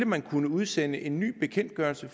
man kan udsende en ny bekendtgørelse